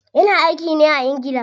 Ya na aiki ne a ingila.